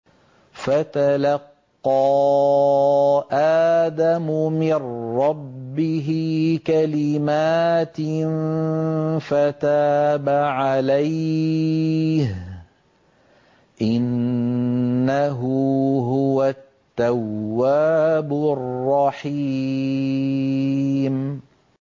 فَتَلَقَّىٰ آدَمُ مِن رَّبِّهِ كَلِمَاتٍ فَتَابَ عَلَيْهِ ۚ إِنَّهُ هُوَ التَّوَّابُ الرَّحِيمُ